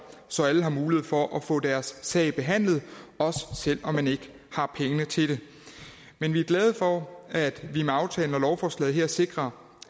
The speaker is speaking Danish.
så alle har mulighed for at få deres sag behandlet også selv om man ikke har pengene til det men vi er glade for at vi med aftalen om lovforslaget sikrer